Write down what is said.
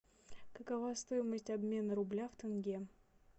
какова стоимость обмена рубля в тенге